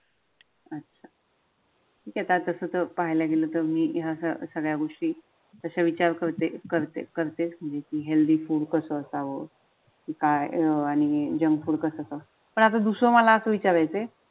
तस तर पाहायला गेलं तर मी या सगळ्या गोष्टी तशा विचार करते करते करते म्हणजे ती हेल्दी फुड कसं असाव काय? आणि जंक फुड कसं? पण आता दुसरं मला असं विचारायचंय.